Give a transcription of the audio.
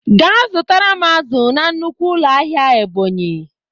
Ga zụtara m azụ na nnukwu ụlọ ahịa Ebonyi!